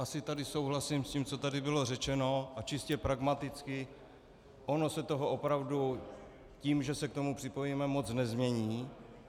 Asi tady souhlasím s tím, co tady bylo řečeno, a čistě pragmaticky, ono se toho opravdu tím, že se k tomu připojíme, moc nezmění.